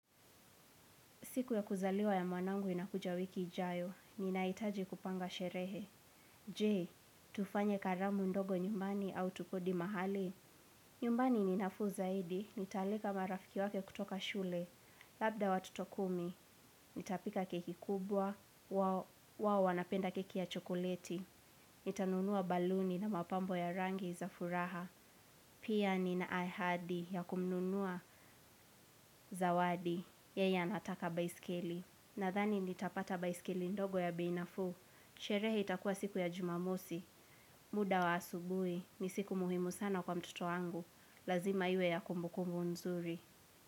Siku ya kuzaliwa ya mwanangu inakuja wiki ijayo, ninahitaji kupanga sherehe. Jee, tufanye karamu ndogo nyumbani au tukodi mahali? Nyumbani ni nafuu zaidi, nitaalika marafiki wake kutoka shule. Labda watoto kumi, nitapika keki kubwa, wao wanapenda keki ya chokoleti. Nitanunua baluni na mapambo ya rangi za furaha. Pia nina ahadi ya kumnunua zawadi yeye anataka baiskeli. Nadhani nitapata baisikili ndogo ya bei nafuu, sherehe itakuwa siku ya jumamosi, muda wa asubui, ni siku muhimu sana kwa mtoto wangu, lazima iwe ya kumbukumbu nzuri.